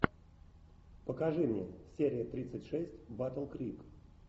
покажи мне серия тридцать шесть батл крик